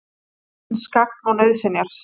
Landsins gagn og nauðsynjar.